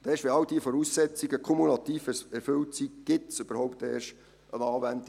Erst wenn all diese Voraussetzungen kumulativ erfüllt sind, gibt es überhaupt eine Anwendung.